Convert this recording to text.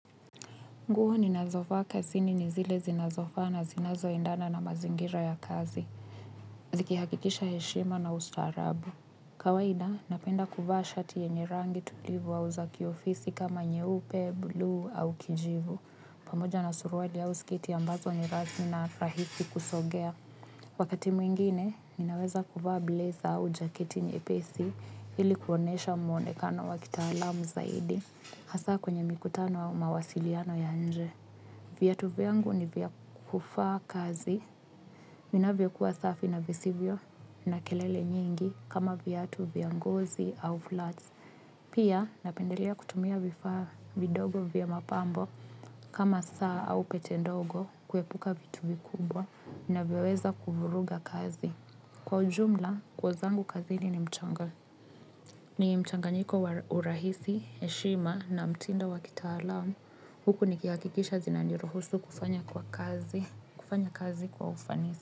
Nguo ninazovaa kazini nizile zinazofaa na zinazo endana na mazingira ya kazi. Zikihakikisha heshima na ustaarabu. Kawaida, napenda kuvaa shati yenye rangi tulivu au za kiofisi kama nyeupe, bluu au kijivu. Pamoja na suruali au sketi ambazo ni rasmi na rahisi kusogea. Wakati mwingine, ninaweza kuvaa blazer au jaketi nyepesi ili kuonesha mwonekano wakitaalam zaidi. Hasa kwenye mikutano au mawasiliano ya nje. Viatu vyangu ni vya kuvaa kazi. Vinavyo kuwa safi na visivyo na kelele nyingi kama viatu vya ngozi au flats. Pia napendelea kutumia vifaa vidogo vya mapambo kama saa au pete ndogo kuepuka vitu vikubwa vina vyoweza kuvuruga kazi. Kwa ujumla, nguo zangu kazini mchanga. Ni mchanganyiko wa urahisi, heshima na mtindo wa kitaalam. Huku nikihakikisha zinaniruhusu kufanya kwa kazi, kufanya kazi kwa ufanisi.